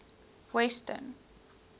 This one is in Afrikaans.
weston